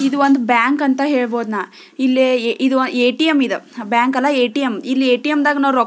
ಇದು ಒಂದು ಬ್ಯಾಂಕ್ ಅಂತ ಹೇಳ್ಬಹುದು ನಾ ಇಲ್ಲಿ ಇದು ಎಟಿಎಮ್ ಇದು ಬ್ಯಾಂಕ್ ಅಲ್ಲ ಎಟಿಎಮ್ ಇಲ್ಲಿ ಎಟಿಎಮ್ ದ ನಾವು--